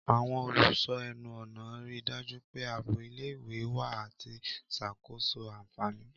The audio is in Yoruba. Àwọn olùṣọ́ ẹnu-ọ̀nà rí i dájú pé ààbò ilé-ìwé wà àti ìṣàkóso àfààní.